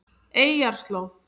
Eyjarslóð